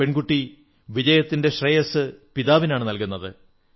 ആ പെൺകുട്ടി വിജയത്തിന്റെ ശ്രേയസ്സ് പിതാവിനാണു നല്കുന്നത്